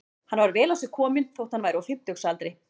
Hann var vel á sig kominn þótt hann væri á fimmtugsaldri.